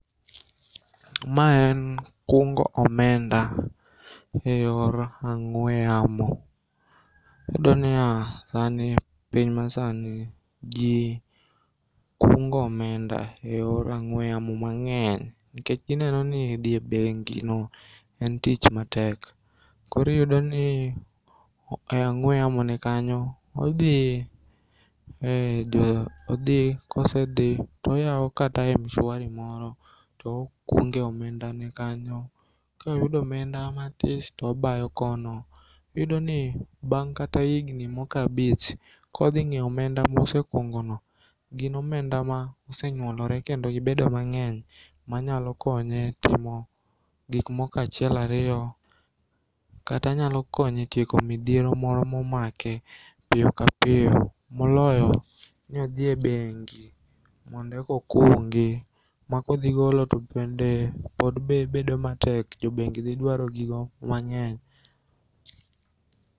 Ma en kungo omenda e yor ang'ue yamo. Iyudoniya, sani, piny masani, jii kungo omenda e yor ang'ue yamo mang'eny nikech gineno dhie bengino en tich matek koro iyudoni e ang'ue yamone kanyo odhi, odhi kosedhi toyao kata mshwari moro to okunge omendane kanyo. Koyudo omenda matis tobayo kono. Iyudoni bang' kata igni moko abich kodhing'iyo omenda mosekungono gin omenda mosenyuolore kendo gibedo mang'eny manyalo konye timo gikmoko achiel ariyo kata nyalo konye tieko midhiero moro momake piyo ka piyo moloyo ni odhie bengi mondekokungi ma kodhigolo to bende pod bedo matek jobengi dhidwaro gigo mang'eny.